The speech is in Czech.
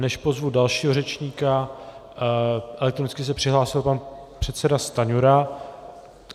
Než pozvu dalšího řečníka, elektronicky se přihlásil pan předseda Stanjura.